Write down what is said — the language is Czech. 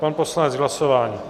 Pan poslanec k hlasování.